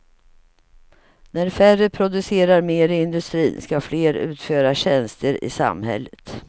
När färre producerar mer i industrin ska fler utföra tjänster i samhället.